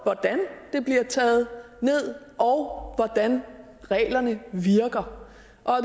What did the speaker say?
hvordan det bliver taget ned og hvordan reglerne virker